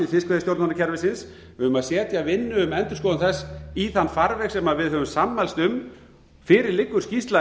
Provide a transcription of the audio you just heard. fiskveiðistjórnarkerfisins við eigum að setja vinnu um endurskoðun þess í þann farveg sem við höfum sammælst um fyrir liggur skýrsla